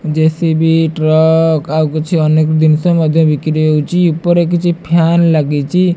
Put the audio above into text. JCB truck ଆଉ କିଛି ଅନେକ ଜିସ ବିକ୍ରି ହଉଚି ଉପରେ କିଛି ଫ୍ୟାନ ଲାଗିଚି।